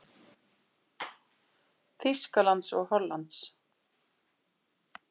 Þýskalands og Hollands.